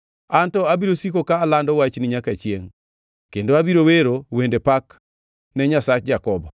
An to abiro siko ka alando wachni nyaka chiengʼ kendo abiro wero wende pak ne Nyasach Jakobo,